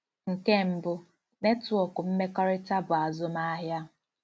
Nke mbụ, netwọk mmekọrịta bụ azụmahịa.